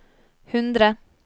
hundre